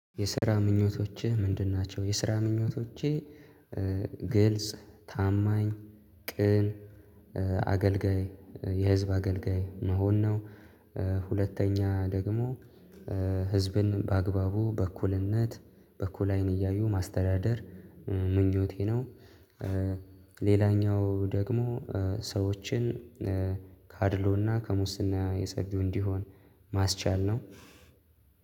የስራ ምኞቶችህ ምንድን ናቸው? የስራ ምኞቶችህ ግልጽ ታማኝ ቅን አገልጋይ የህዝብ አገልጋይ መሆን ነው። ሁለተኛ ደግሞ ህዝብን በአግባቡ በእኩልነት በእኩል አይን እያዩ ማስተዳደር ምኞቴ ነው። ሌላኛው ደግሞ ሰዎችን ካድሎና ከሙስና የሰገው እንዲሆን ማስቻል ነው።